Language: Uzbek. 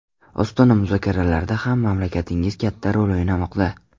Ostona muzokaralarida ham mamlakatingiz katta rol o‘ynamoqda.